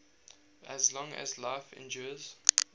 as long as life endures